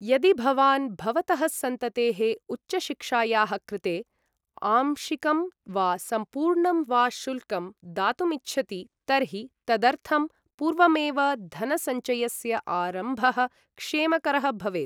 यदि भवान् भवतः सन्ततेः उच्चशिक्षायाः कृते, आंशिकं वा सम्पूर्णं वा शुल्कं दातुम् इच्छति तर्हि तदर्थं पूर्वमेव धनसञ्चयस्य आरम्भः क्षेमकरः भवेत्।